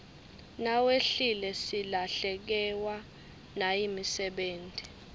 nawehlile silahlekewa nayimisebeti